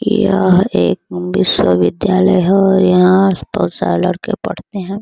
यह एक विश्वविद्यालय है और यहाँ बहुत सारे लड़के पढ़ते हैं ।